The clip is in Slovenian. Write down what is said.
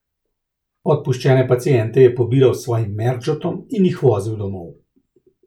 Odpuščene paciente je pobiral s svojim merdžotom in jih vozil domov.